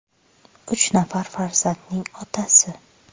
Uch nafar farzandning otasi.